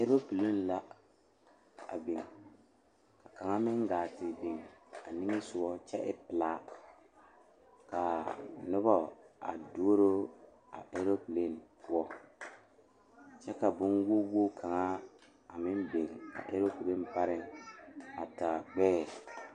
Noba la a kyɛne bamine de la wiɛ a yeere yeere baagre kaŋa soba meŋ e la gbɛre a zeŋ gbɛre saakere poɔ kyɛ kaa kaŋa soba paŋ daare o ,o meŋ yeere la baagi o puori.